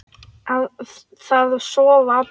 Það sofa allir.